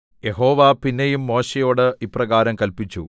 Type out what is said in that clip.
യഹോവ പിന്നെയും മോശെയോട് ഇപ്രകാരം കല്പിച്ചു